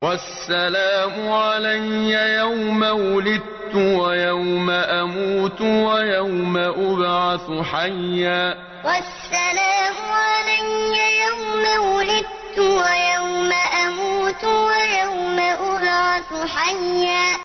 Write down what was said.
وَالسَّلَامُ عَلَيَّ يَوْمَ وُلِدتُّ وَيَوْمَ أَمُوتُ وَيَوْمَ أُبْعَثُ حَيًّا وَالسَّلَامُ عَلَيَّ يَوْمَ وُلِدتُّ وَيَوْمَ أَمُوتُ وَيَوْمَ أُبْعَثُ حَيًّا